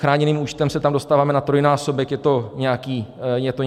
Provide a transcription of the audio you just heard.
Chráněným účtem se tam dostáváme na trojnásobek, je to nějaký kompromis.